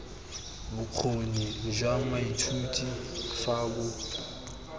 bokgoni jwa moithuti fa bo